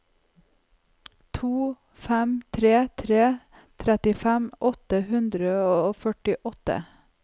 to fem tre tre trettifem åtte hundre og førtiåtte